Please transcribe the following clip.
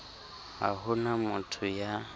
ha ho na motho ya